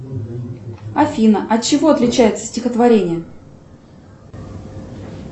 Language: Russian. афина от чего отличается стихотворение